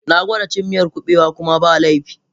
Na gwada cin miyar kubewa kuma ba laifi.